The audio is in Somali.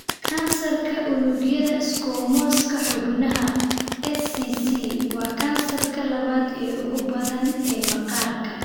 Kansarka unugyada Squamouska xubnaha (SCC) waa kansarka labaad ee ugu badan ee maqaarka.